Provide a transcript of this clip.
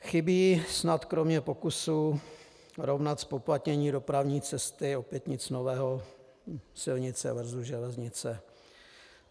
Chybí snad kromě pokusů rovnat zpoplatnění dopravní cesty, opět nic nového, silnice versus železnice.